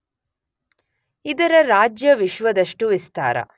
ಇದರ ರಾಜ್ಯ ವಿಶ್ವದಷ್ಟು ವಿಸ್ತಾರ.